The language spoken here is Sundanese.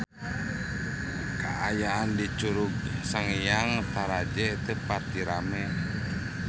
Kaayaan di Curug Sanghyang Taraje teu pati rame